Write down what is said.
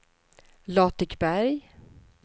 Latikberg